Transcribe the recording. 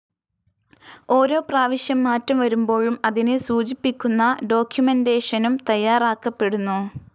ഓരോ പ്രാവശ്യം മാറ്റം വരുമ്പോഴും അതിനെ സൂചിപ്പിക്കുന്ന ഡോക്ക്യുമെൻ്റേഷനും തയ്യാറാക്കപ്പെടുന്നു.